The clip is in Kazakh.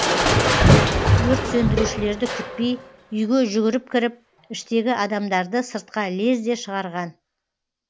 өрт сөндірушілерді күтпей үйге жүгіріп кіріп іштегі адамдарды сыртқа лезде шығарған